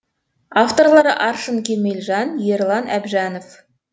авторлары аршын кемелжан ерлан әбжанов